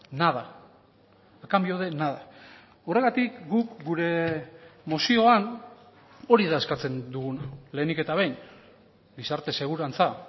nada a cambio de nada horregatik guk gure mozioan hori da eskatzen duguna lehenik eta behin gizarte segurantza